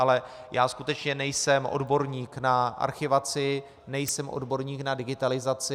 Ale já skutečně nejsem odborník na archivaci, nejsem odborník na digitalizaci.